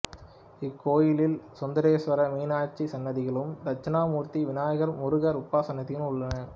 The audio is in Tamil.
இக்கோயிலில் சுந்தரேஸ்வரர் மீனாட்சி சன்னதிகளும் தட்சனாமூர்த்தி விநாயகர் முருகர் உபசன்னதிகளும் உள்ளன